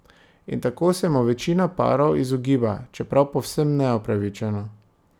In tako se mu večina parov izogiba, čeprav povsem neupravičeno.